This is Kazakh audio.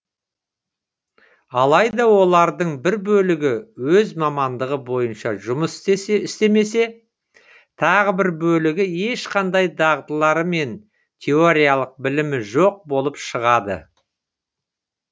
алайда олардың бір бөлігі өз мамандығы бойынша жұмыс істемесе тағы бір бөлігі ешқандай дағдылары мен теориялық білімі жоқ болып шығады